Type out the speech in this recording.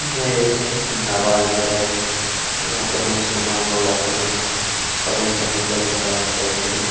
यह एक नवाज घर है जहाँ पर मुसलमान लोग आते है समय -समय पर नमाज पढ़ते हैं।